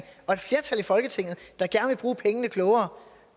og et flertal i folketinget der gerne vil bruge pengene klogere